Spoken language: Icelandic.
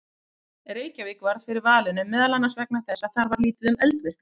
Reykjavík varð fyrir valinu meðal annars vegna þess að þar var lítið um eldvirkni.